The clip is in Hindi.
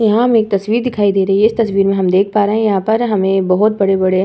यहां हमें एक तस्वीर दिखाई दे रही है। इस तस्वीर में हम देख पा रहे हैं यहां पर हमें बहोत बड़े-बड़े --